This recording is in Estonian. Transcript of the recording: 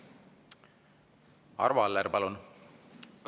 Arvo Aller, palun!